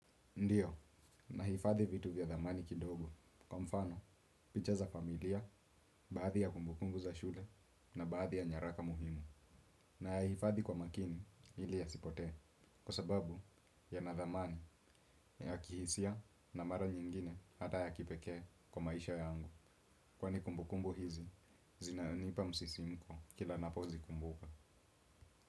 Ndiyo, nahifadhi vitu vya thamani kidogo. Kwa mfano, picha za familia, baadhi ya kumbukumbu za shule na baadhi ya nyaraka muhimu. Nayahifadhi kwa makini ili yasipotee. Kwa sababu yana thamani ya kihisia na mara nyingine hata ya kipekee kwa maisha yangu. Kwani kumbukumbu hizi, zinanipa msisimko kila ninapozikumbuka.